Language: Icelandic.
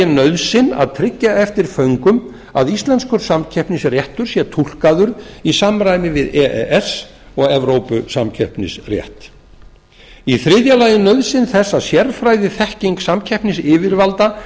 nauðsyn að tryggja eftir föngum að íslenskur samkeppnisréttur sé túlkaður í samræmi við e e s og evrópusamkeppnisrétt þriðja nauðsyn þess að sérfræðiþekking samkeppnisyfirvalda